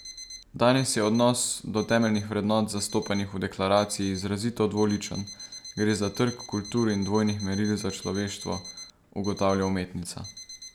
Danes je odnos do temeljnih vrednot, zastopanih v deklaraciji, izrazito dvoličen, gre za trk kultur in dvojnih meril za človeštvo, ugotavlja umetnica.